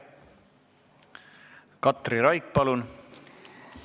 Katri Raik, palun!